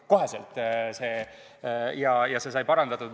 Kohe sai see parandatud.